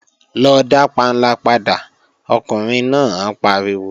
Lọ dá panla padà, ọkùnrin náà pariwo!